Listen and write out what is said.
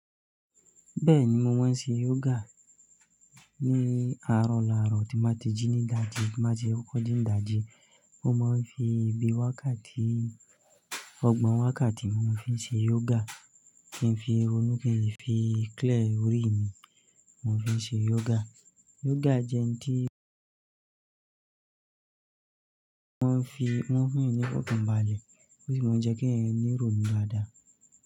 Bẹ́ẹ̀ni, mo máa ń ṣe yoga. Ni àárọ̀ làárọ̀ tí má ti jí ní idàjí, ti n bá ti kọkọ ji ni idàjí. Mo máa ń fi ibi wákàtí, ọgbọ́n wákàtí mo máa ń fi ṣe yoga. Kí n fi ronú, kí n fi clear orí mi, mo máa ń fi ṣe yoga. Yoga jẹ́ n tii wọ́n fi, wọ́n fún èèyàn ní ifòkànbalẹ̀ tó sì máa ń jẹ́ kí èèyàn ní ironú dáadáa.